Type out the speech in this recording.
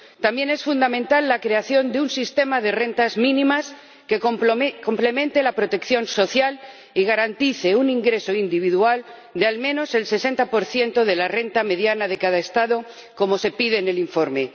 También es fundamental la creación de un sistema de rentas mínimas que complemente la protección social y garantice un ingreso individual de al menos el 60 de la renta mediana de cada Estado, como se pide en el informe.